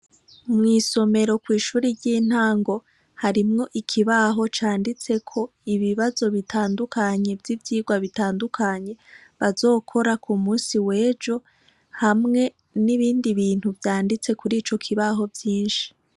Mw'isomero kw'ishure ry'intango harimwo ikibaho canditseko ibibazo bitandukanye vy'ivyigwa bitandukanye bazokora ku munsi w'ejo hamwe n'ibindi bintu vyanditse kuri ico kibaho vyinshi.